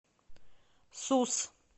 сус